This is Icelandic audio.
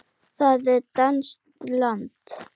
Það er danskt land.